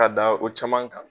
K'a da o caman kan